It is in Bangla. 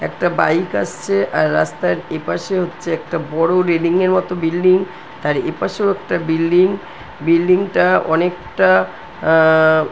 একটা বাইক আসছে। আর রাস্তার এপাশে হচ্ছে একটা বড় রেলিং এর মতো বিল্ডিং । আর এপাশেও একটা বিল্ডিং । বিল্ডিং -টা অনেকটা আ-হ-হ-হ--